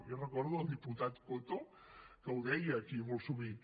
jo recordo el diputat coto que ho deia aquí molt sovint